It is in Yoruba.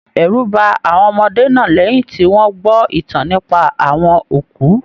Ẹrú bá àwọn ọmọdé náà lẹyìn tí wọn gbọ ìtàn nípa àwọn òkú.